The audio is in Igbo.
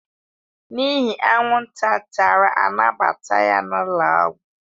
N'ihi anwụnta tara a nabata ya n'ụlọọgwụ